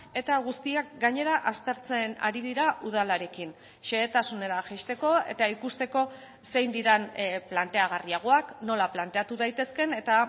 eta guztiak gainera aztertzen ari dira udalarekin xehetasunera jaisteko eta ikusteko zein diren planteagarriagoak nola planteatu daitezken eta